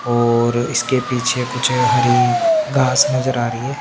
और इसके पीछे कुछ हरी घास नज़र आरी है।